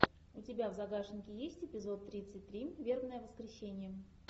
у тебя в загашнике есть эпизод тридцать три вербное воскресение